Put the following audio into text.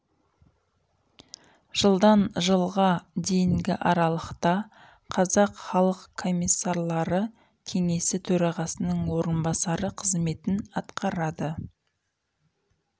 жылдан жылға дейінгі аралықта қазақ халық комиссарлары кеңесі төрағасының орынбасары қызметін атқарады